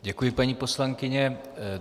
Děkuji, paní poslankyně.